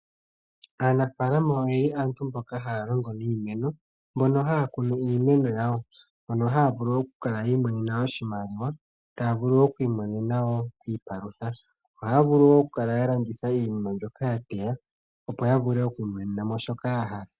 Aanafaalama aantu mboka haya longo niimeno. Mbono haya kunu iimeno yawo . Ohaya vulu oku kala yi imonena oshimaliwa, taya vulu oku imonena woo iipalutha. Ohaya vulu oku okulanditha iinima mbyoka ya teya opo yi imonena shoka yahala.